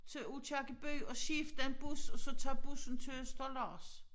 Til Aakirkeby og skifte en bus og så tage bussen til Østerlars